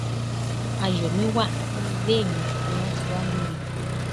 àyọmíwà ní ilé mi ni wọn ti wáá mú mi